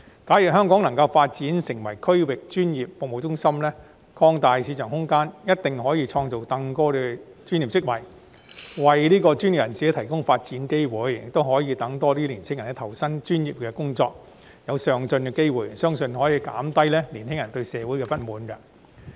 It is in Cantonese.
假如香港能夠發展成為區域專業服務中心，擴大市場空間，一定可以創造更多專業職位，為專業人士提供發展機會，亦讓更多年青人投身專業工作，得到上進的機會，相信這可減低年青人對社會的不滿。